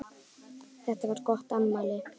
Þetta var gott afmæli.